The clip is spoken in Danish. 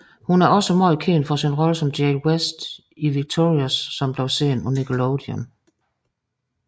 Hun er også meget kendt for sin rolle som Jade West i Victorious som bliver sendt på Nickelodeon